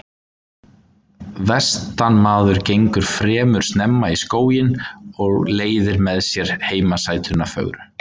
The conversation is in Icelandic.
Vestanmaður gengur fremur snemma í skóginn og leiðir með sér heimasætuna fögru.